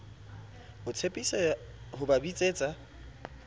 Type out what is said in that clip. o tshepisa ho ba bitsetsa